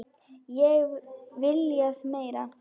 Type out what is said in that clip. Ekki viljað meira.